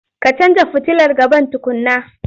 Ka canja futilar gaban tukunna.